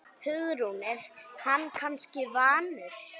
Hugrún: Er hann kannski vanur?